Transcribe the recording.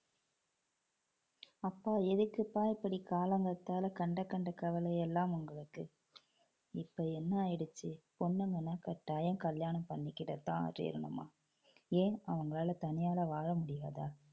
அப்பா எதுக்குப்பா இப்படி காலங்காத்தால கண்ட கண்ட கவலையெல்லாம் உங்களுக்கு. இப்ப என்ன ஆயிடுச்சு, பொண்ணுங்கன்னா கட்டாயம் கல்யாணம் பண்ணிக்கிடத்தான் தீரணுமா ஏன் அவங்களால தனியாளா வாழ முடியாதா?